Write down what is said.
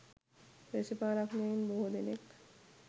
දේශපාලනඥයින් බොහෝ දෙනෙක්